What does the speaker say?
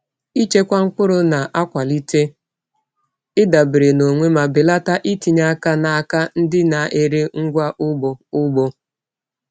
Ịchekwa mkpụrụ na-akwalite ịdabere na onwe ma belata itinye aka n’aka ndị na-ere ngwa ugbo. ugbo.